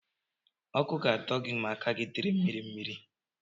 Ọkụ ga-adọ gị ma aka gị dị mmiri mmiri.